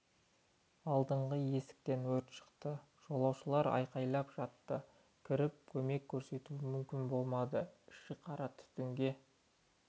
алдыңғы есіктен өрт шықты жолаушылар айқайлап жатты кіріп көмек көрсету мүмкін болмады іші қара түтінге